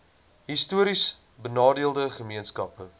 histories benadeelde gemeenskappe